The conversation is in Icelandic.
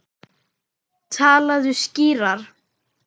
Talaðu skýrar.